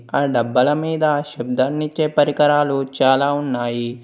ఆ డబ్బాల మీద శబ్దాన్నిచ్చే పరికరాలు చాలా ఉన్నాయి.